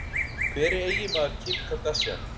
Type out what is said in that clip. Hver er eiginmaður Kim Kardashian?